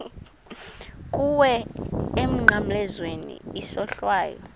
kuwe emnqamlezweni isohlwayo